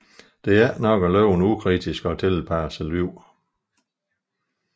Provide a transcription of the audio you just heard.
Det er ikke nok at leve et ukritisk og tilpasset liv